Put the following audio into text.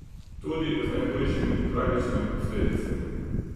Tudi z najhujšimi, tragičnimi posledicami.